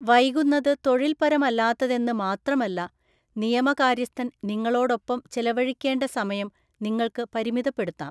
വൈകുന്നത് തൊഴില്‍പരമല്ലാത്തതെന്ന് മാത്രമല്ല, നിയമകാര്യസ്ഥന്‍ നിങ്ങളോടൊപ്പം ചെലവഴിക്കേണ്ട സമയം നിങ്ങൾക്ക് പരിമിതപ്പെടുത്താം.